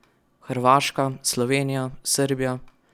Hrvaška, Slovenija, Srbija ...